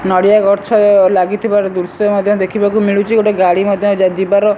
ନଡ଼ିଆ ଗଛ ଲାଗିଥିବାର ଦୃଶ୍ଯ ମଧ୍ଯ ଦେଖିବାକୁ ମିଳୁଚି। ଗୋଟେ ଗାଡ଼ି ମଧ୍ଯ ଯା ଯିବାର --